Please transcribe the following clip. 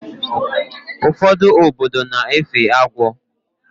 Ụfọdụ obodo na-efe agwọ